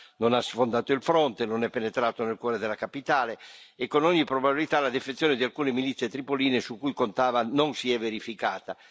Haftar non ha sfondato il fronte, non è penetrato nel cuore della capitale e con ogni probabilità la defezione di alcune milizie di Tripoli su cui contava non si è verificata.